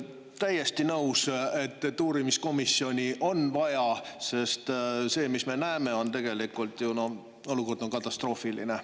Täiesti nõus, et uurimiskomisjoni on vaja, sest me näeme, et olukord on katastroofiline.